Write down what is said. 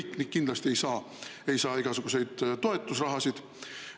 Tõsi, kõik kindlasti ei saa igasuguseid toetusrahasid.